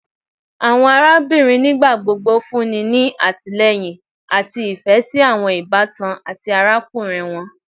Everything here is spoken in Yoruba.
Awọn arabinrin nigbagbogbo funni ni atilẹyin ati ifẹ si awọn ibatan ati arakunrin wọn